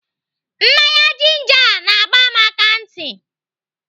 Mmanya jinja a na-agba m akantị.